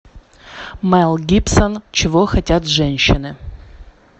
мэл гибсон чего хотят женщины